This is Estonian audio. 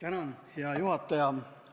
Hea juhataja!